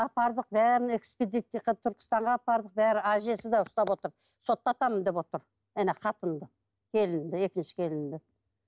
апардық бәріне экспедицияға түркістанға апардық бәрі әжесі де ұстап отыр соттатамын деп отыр ана қатынды келінді екінші келінді